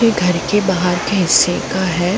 ये घर के बाहर के हिस्से का है।